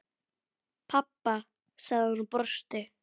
Pabba? sagði hún og brosti.